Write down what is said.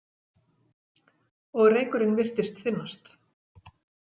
Og reykurinn virtist þynnast.